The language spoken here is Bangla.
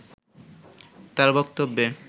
তার বক্তব্যে